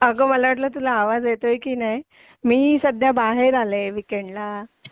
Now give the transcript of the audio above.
अगं मला वाटलं तुला आवाज येतोय की नाही मी सध्या बाहेर आले वीकेंडला